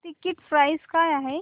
ticket price काय आहे